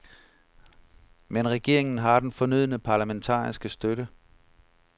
Men regeringen har den fornødne parlamentariske støtte.